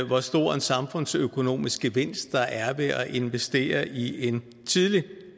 hvor stor en samfundsøkonomisk gevinst der er ved at investere i en tidlig